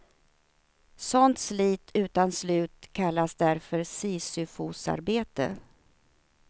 Sådant slit utan slut kallas därför sisyfosarbete.